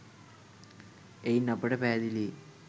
එයින් අපට පැහැදිලියි